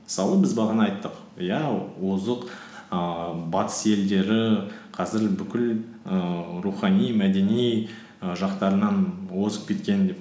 мысалы біз бағана айттық иә озық ііі батыс елдері қазір бүкіл ііі рухани мәдени і жақтарынан озып кеткен деп